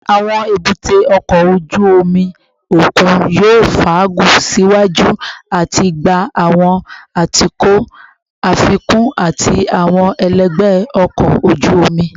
Awọn ebute oko oju omi okun yoo faagun siwaju ati gba awọn atukọ afikun ati awọn ẹlẹgbẹ ọkọ oju omi